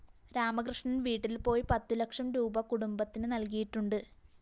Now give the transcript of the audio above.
രാമകൃഷ്ണന്‍ വീട്ടില്‍ പോയി പത്തു ലക്ഷം രൂപീ കുടുംബത്തിന് നല്‍കിയിട്ടുണ്ട്